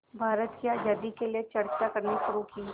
भारत की आज़ादी के लिए चर्चा करनी शुरू की